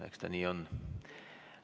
Eks ta nii on.